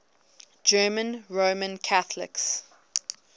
german roman catholics